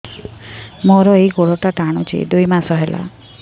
ମୋର ଏଇ ଗୋଡ଼ଟା ଟାଣୁଛି ଦୁଇ ମାସ ହେଲା